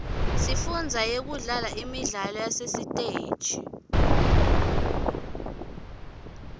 sifunza kudlala imidlalo yasesiteji